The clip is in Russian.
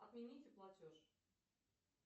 отмените платеж